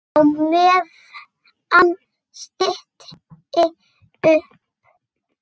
Á meðan stytti upp.